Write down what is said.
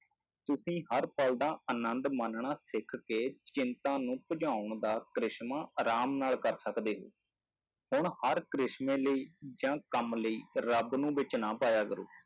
ਤੁਸੀਂ ਹਰ ਪਲ ਦਾ ਆਨੰਦ ਮਾਨਣਾ ਸਿੱਖ ਕੇ ਚਿੰਤਾ ਨੂੰ ਭਜਾਉਣ ਦਾ ਕਰਿਸ਼ਮਾ ਆਰਾਮ ਨਾਲ ਕਰ ਸਕਦੇ ਹੋ, ਹੁਣ ਹਰ ਕਰਿਸ਼ਮੇ ਲਈ ਜਾਂ ਕੰਮ ਲਈ ਰੱਬ ਨੂੰ ਵਿੱਚ ਨਾ ਪਾਇਆ ਕਰੋ,